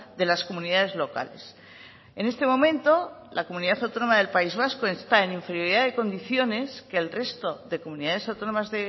de las comunidades locales en este momento la comunidad autónoma del país vasco está en inferioridad de condiciones que el resto de comunidades autónomas